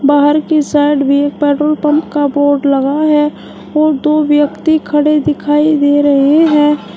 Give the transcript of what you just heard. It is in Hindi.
बाहर की साइड में एक पेट्रोल पंप का बोर्ड लगा है और दो व्यक्ति खड़े दिखाई दे रहे हैं।